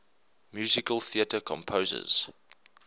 musical theatre composers